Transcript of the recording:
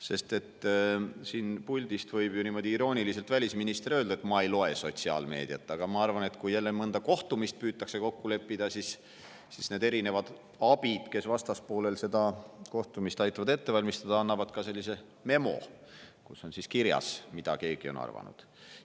Sest välisminister võib ju siit puldist niimoodi irooniliselt öelda, et ta ei loe sotsiaalmeediat, aga ma arvan, et kui jälle mõnda kohtumist püütakse kokku leppida, siis need erinevad abid, kes aitavad vastaspoolel seda kohtumist ette valmistada, annavad ka sellise memo, kus on kirjas, mida keegi on arvanud.